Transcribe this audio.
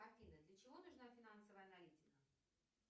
афина для чего нужна финансовая аналитика